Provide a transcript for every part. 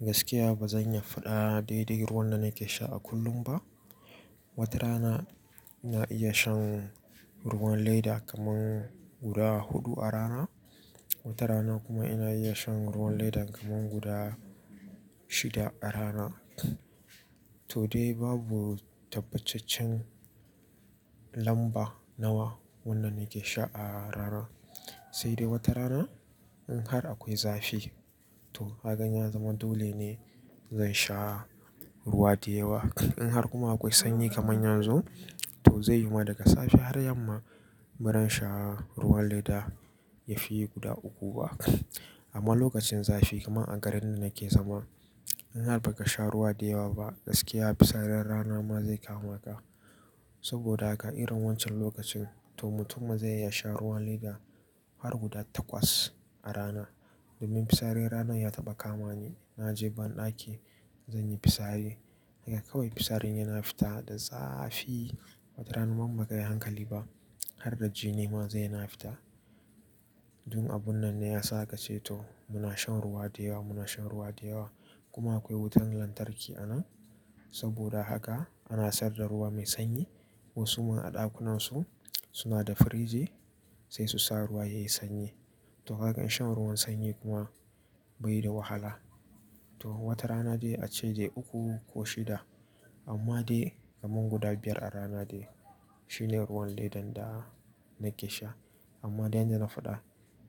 Gaskiya ba zan iya faɗa daidai ruwan da nake sha a kullum ba, Wata rana, ina iya shan ruwan leda kamar guda huɗu a rana, wata rana kuma ina iya shan ruwan leda kamar guda shida a rana. To dai babu tabbacaccen lamba nawa wanda nake sha a rana. Sai dai wata rana, in har akwai zafi, to kagan ya zaman dole ne, zan sha ruwa da yawa. In har kuma akwai sanyi kamar yanzu, to zai yima daga safe har yamma baran sha ruwan leda yafi guda uku ba, amma lokacin zafi kamar a garin da nake zama, in har ba ka sha ruwa da yawa ba, gaskiya fitsarin rana ma zai kama ka. Saboda haka irin wancan lokacin, to mutum ma zai iya sha ruwan leda, har guda takwas a rana. Domin fisarin ranan ya taɓa kamani, na je banɗaki zan yi fitsari, haka kawai fisarin yana fita da zafi. Wata rana ma in bakayi hankali ba, har da jini ma zai yana fita. Dun abun nan ne ya sa aka ce to muna shan ruwa da yawa, muna shan ruwa da yawa, kuma akwai wutan lantarki anan, saboda haka, ana sayar da ruwa mai sanyi. Wasu ma a ɗakunansu, suna da firiji, sai su sa ruwa yayi sanyi. To hakan shan ruwan sanyi kuma bai da wahala. To, wata rana dai ace dai uku ko shida, amma dai kamar guda biyar a rana dai shine ruwan ledan da nake sha. Amma dai yanda na faɗa,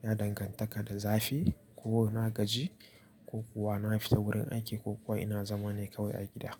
yana dangantaka da zafi ko inna gaji, ko kuwa na fita wurin aiki ko kuwa ina zama ne kawai a gida.